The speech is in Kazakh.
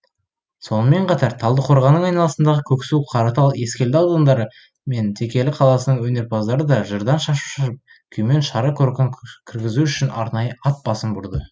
сонымен қатар талдықорғанның айналасындағы көксу қаратал ескелді аудандары мен текелі қаласының өнерпаздары да жырдан шашу шашып күймен шара көркін кіргізу үшін арнайы ат басын бұрды